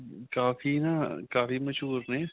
ਕਾਫ਼ੀ ਨਾਂ ਕਾਫ਼ੀ ਮਸੂਹਰ ਨੇ